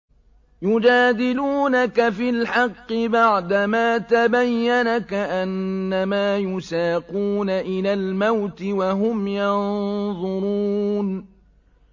يُجَادِلُونَكَ فِي الْحَقِّ بَعْدَمَا تَبَيَّنَ كَأَنَّمَا يُسَاقُونَ إِلَى الْمَوْتِ وَهُمْ يَنظُرُونَ